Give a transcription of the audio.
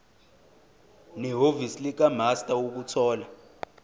nehhovisi likamaster ukuthola